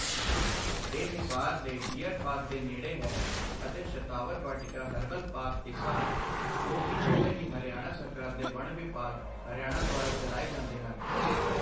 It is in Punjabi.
ਇਹ ਹਿਸਾਰ ਦੇ ਡੀਅਰ ਪਾਰਕ ਦੇ ਨੇੜੇ ਹੈ, ਅਤੇ ਸ਼ਤਾਵਰ ਵਾਟਿਕਾ ਹਰਬਲ ਪਾਰਕ, ਹਿਸਾਰ, ਜੋ ਕਿ ਦੋਵੇਂ ਹੀ ਹਰਿਆਣਾ ਸਰਕਾਰ ਦੇ ਵਣ ਵਿਭਾਗ, ਹਰਿਆਣਾ ਦੁਆਰਾ ਚਲਾਏ ਜਾਂਦੇ ਹਨ।